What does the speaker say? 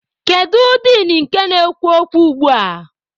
Kedu din nke na-ekwu okwu ugbua?